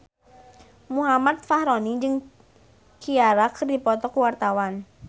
Muhammad Fachroni jeung Ciara keur dipoto ku wartawan